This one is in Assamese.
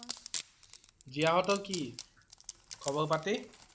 জীয়া সতৰ কি? খবৰ পাতি?